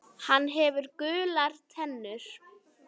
Hann hefur gular tennur.